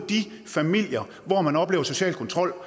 de familier hvor man oplever social kontrol